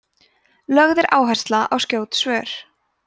lögð er áhersla á skjót svör